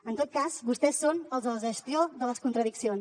en tot cas vostès són els de la gestió de les contradiccions